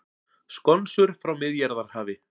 Skonsur frá Miðjarðarhafi